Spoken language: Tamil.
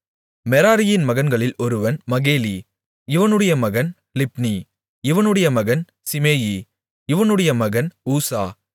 மெராரியின் மகன்களில் ஒருவன் மகேலி இவனுடைய மகன் லிப்னி இவனுடைய மகன் சிமேயி இவனுடைய மகன் ஊசா